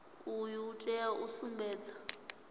uyu u tea u sumbedza